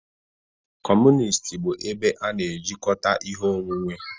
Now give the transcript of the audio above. Kọmunist bụ ebe a na-ejikọta ihe onwunwe.